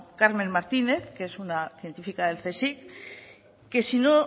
carmen martínez que es una científica del csic que si no